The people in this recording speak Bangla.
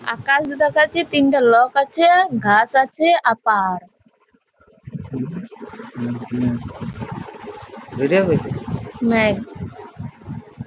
আকাশ দেখা যাচ্ছে তিনটে লোক আছে-এ ঘাস আছে আর পাহাড় নেহি।